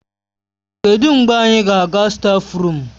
Kedụ mgbe anyị ga-aga stáfruum?